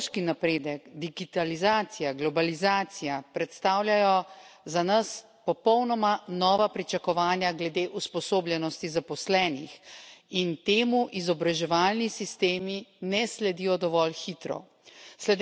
Tehnološki napredek, digitalizacija, globalizacija predstavljajo za nas popolnoma nova pričakovanja glede usposobljenosti zaposlenih in temu izobraževalni sistemi ne sledijo dovolj hitro.